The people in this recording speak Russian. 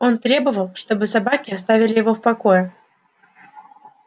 он требовал чтобы собаки оставили его в покое